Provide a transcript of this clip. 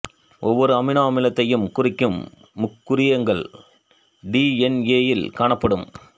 ஒவ்வொரு அமினோ அமிலத்தையும் குறிக்கும் முக்குறியங்கள் டி என் ஏ யில் காணப்படும்